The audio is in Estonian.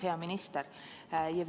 Hea minister!